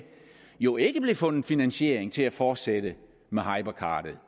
jo ikke blev fundet finansiering til at fortsætte med hypercardet